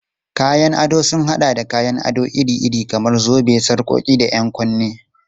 Kayan ado sun haɗa da kayan ado iri-iri kamar zobe, sarƙoƙi, da 'yan kunne.